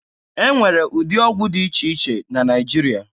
E nwere ụdị ọgwụ dị iche iche na Naịjirịa.